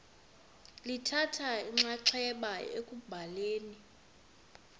lithatha inxaxheba ekubhaleni